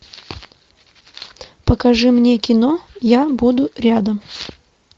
покажи мне кино я буду рядом